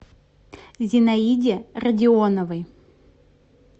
зинаиде радионовой